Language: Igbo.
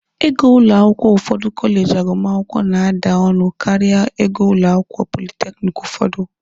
Ego ụlọ akwụkwọ ụfọdụ kọleji agụmakwụkwọ na-ada ọnụ karịa ego ụlọ akwụkwọ politekiniki ụfọdụ.